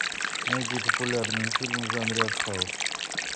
найди популярные фильмы в жанре арт хаус